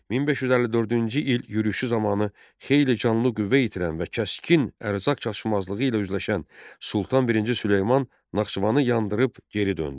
1554-cü il yürüşü zamanı xeyli canlı qüvvə itirən və kəskin ərzaq çatışmazlığı ilə üzləşən Sultan birinci Süleyman Naxçıvanı yandırıb geri döndü.